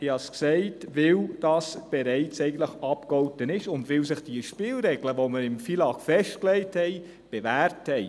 Ich habe es gesagt, weil das bereits abgegolten ist und weil sich die Spielregeln, die wir im FILAG festlegten, bewährt haben.